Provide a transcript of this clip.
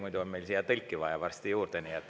Muidu on meil siia varsti tõlki juurde vaja.